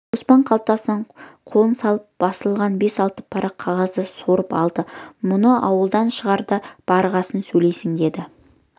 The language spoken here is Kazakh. қоспан қалтасына қолын салып басылған бес-алты парақ қағазды суырып алды мұны ауылдан шығарда барғасын сөйлейсің деп